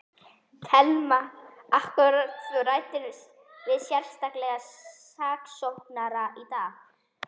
Telma: Akkúrat, þú ræddir við sérstaka saksóknara í dag?